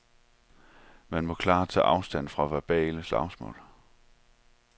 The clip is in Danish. Man må klart tage afstand fra verbale slagsmål.